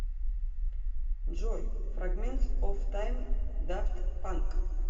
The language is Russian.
джой фрагментс оф тайм дафт панк